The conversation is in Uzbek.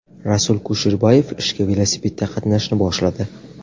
Rasul Kusherbayev ishga velosipedda qatnashni boshladi.